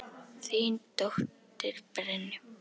Þín dóttir, Brynja.